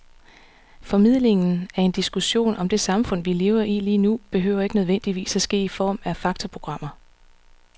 Formidlingen af en diskussion om det samfund, vi lever i lige nu, behøver ikke nødvendigvis at ske i form af faktaprogrammer.